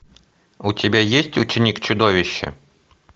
у тебя есть ученик чудовища